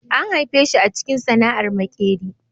An haife shi a cikin sana'ar maƙeri